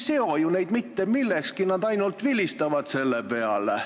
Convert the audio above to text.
See ei seo ju neid mitte kuidagi, nad vilistavad selle peale.